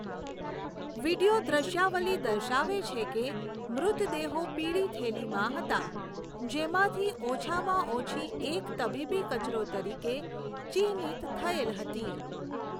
Video દ્રશ્યાવલી દર્શાવે છે કે મૃતદેહો પીળી થેલીમાં હતા, જેમાંથી ઓછામાં ઓછી એક તબીબી કચરો તરીકે ચિહ્નિત થયેલ હતી.